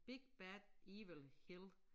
Big bad evil hill